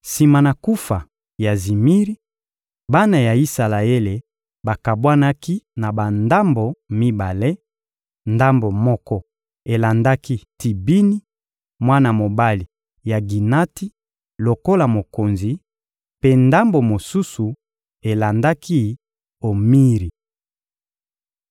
Sima na kufa ya Zimiri, bana ya Isalaele bakabwanaki na bandambo mibale: ndambo moko elandaki Tibini, mwana mobali ya Ginati lokola mokonzi; mpe ndambo mosusu elandaki Omiri.